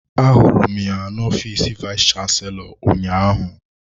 Ahụrụ m ya n'ofiis vayis chansilọ ụnyaahụ.